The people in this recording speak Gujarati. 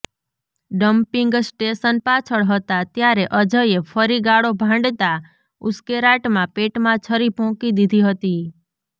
ડમ્પિંગ સ્ટેશન પાછળ હતા ત્યારે અજયે ફરી ગાળો ભાંડતા ઉશ્કેરાટમાં પેટમાં છરી ભોંકી દીધી હતી